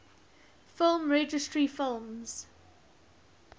film registry films